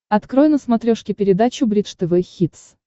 открой на смотрешке передачу бридж тв хитс